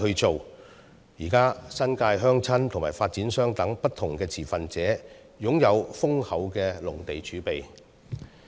現時，新界鄉紳和發展商等不同持份者皆擁有豐厚的農地儲備。